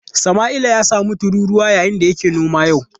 Samaila ya samu tururuwa yayin da yake noma a yau.